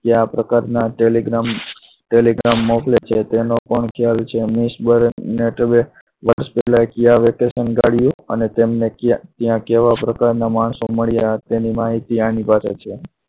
કેવા પ્રકારના telegram telegram મોકલે છે તેનો પણ ખ્યાલ છે અને ત્યાં તેમને કેવા પ્રકારના માણસો મળ્યા એની માહિતી આની પાસે છે.